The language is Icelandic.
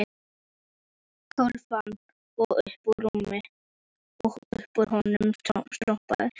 Kolaofn og uppúr honum strompur, eða túða.